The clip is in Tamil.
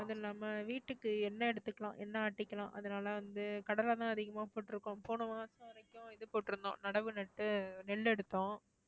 அதில்லாம வீட்டுக்கு எண்ணெய் எடுத்துக்கலாம், எண்ணெய் ஆட்டிக்கலாம். அதுனால வந்து கடலை தான் அதிகமா போட்டிருக்கோம். போன மாதம் வரைக்கும் இது போட்டிருந்தோம், நடவு நட்டு நெல்லு எடுத்தோம்.